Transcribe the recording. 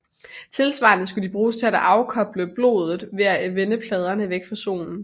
Tilsvarende skulle de bruges til at afkøle blodet ved at vende pladerne væk fra solen